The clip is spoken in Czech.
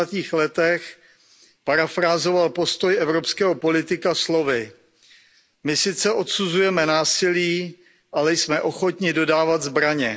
30. letech parafrázoval postoj evropského politika slovy My sice odsuzujeme násilí, ale jsme ochotni dodávat zbraně.